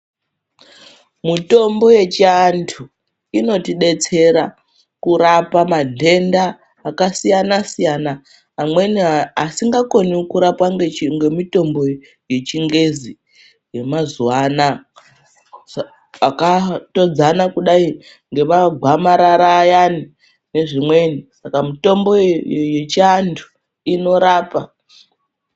Mitombo yechivantu inotibetsera kurapa mandenda akasiyana siyana amweni asingakoni kurapwa ngemutombo yechingezi yemazuva anaya, akatodzana kudai ngemagwamarara ayani ezvimweni saka mitombo yechivantu inorapa.